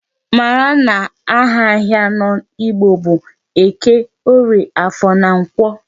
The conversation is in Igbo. Mara na aha ahịa anọ Igbo bụ Eke, Orie, Afọ na Nkwọ.